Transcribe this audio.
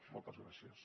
moltes gràcies